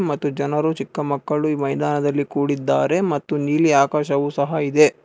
ಮತ್ತು ಜನರು ಚಿಕ್ಕ ಮಕ್ಕಳು ಮೈದಾನದಲ್ಲಿ ಕೂಡಿದ್ದಾರೆ ಮತ್ತು ನೀಲಿ ಆಕಾಶವು ಸಹ ಇದೆ.